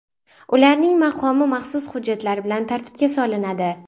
Ularning maqomi maxsus hujjatlar bilan tartibga solinadi.